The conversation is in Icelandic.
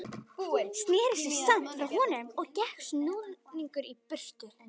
Sneri sér samt frá honum og gekk snúðugur í burtu.